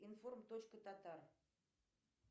информ точка татар